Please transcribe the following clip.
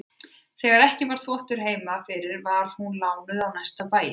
Þegar ekki var þvottur heima fyrir var hún lánuð á næstu bæi.